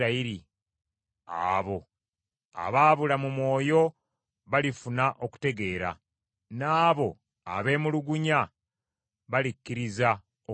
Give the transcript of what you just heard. Abo abaabula mu mwoyo balifuna okutegeera, n’abo abeemulugunya balikkiriza okuyigirizibwa.